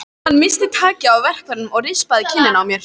Hann missti takið á verkfærinu og rispaði kinnina á mér.